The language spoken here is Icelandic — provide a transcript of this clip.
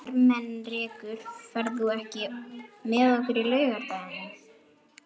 Ermenrekur, ferð þú með okkur á laugardaginn?